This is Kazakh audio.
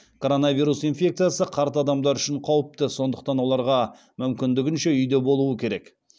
коронавирус инфекциясы қарт адамдар үшін қауіпті сондықтан оларға мүмкіндігінше үйде болу керек